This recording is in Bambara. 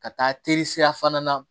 Ka taa teresira fana na